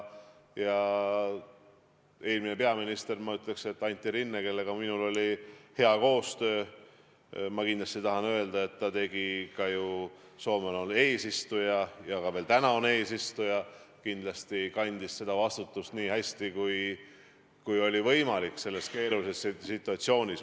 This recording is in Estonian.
Ja eelmine peaminister Antti Rinne, kellega minul oli hea koostöö – Soome on ju olnud eesistuja ja on seda ka praegu veel –, kandis seda vastutust nii hästi, kui oli võimalik selles keerulises situatsioonis.